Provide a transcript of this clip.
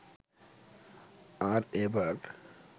আর এবার